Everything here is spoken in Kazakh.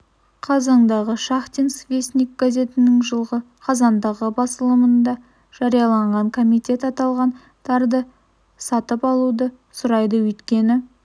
қазандағы шахтинский вестник газетінің жылы қазандағы басылымында жарияланған комитет аталған тарды сатып алмауды сұрайды өйткені